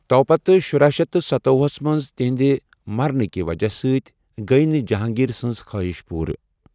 تۄپتہٕ، شُرہَ شیتھ ستۄۄہُ ہَس منٛز تہنٛدِ مرنٕکہِ وجہہ سۭتۍ گیۍ نہٕ جہانگیر سنٛز خواہش پورٕ۔